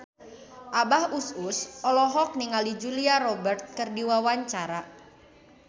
Abah Us Us olohok ningali Julia Robert keur diwawancara